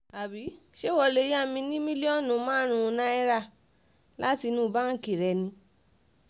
àbí ṣé ìwọ lè yá mi ní mílíọ̀nù márùn-ún náírà láti inú báǹkì rẹ ni